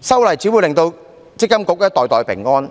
修例只會令積金局袋袋平安，